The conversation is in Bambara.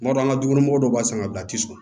Tuma dɔw la dukɔnɔmɔgɔw dɔw b'a san ka bila a tɛ sɔn